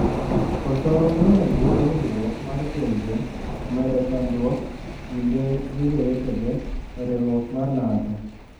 Koso miyo luor winjruok mar pinje omedo chandruok kinde gi jowetege e riwruok mar NATO.